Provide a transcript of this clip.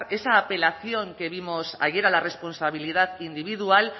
esa apelación que vimos ayer a la responsabilidad individual